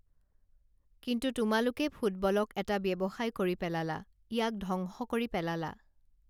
কিন্তু তোমালোকে ফুটবলক এটা ব্যৱসায় কৰি পেলালা ইয়াক ধ্বংস কৰি পেলালা